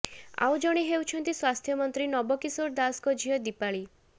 ଆଉ ଜଣେ ହେଉଛନ୍ତି ସ୍ବାସ୍ଥ୍ୟମନ୍ତ୍ରୀ ନବକିଶୋର ଦାସଙ୍କ ଝିଅ ଦୀପାଳି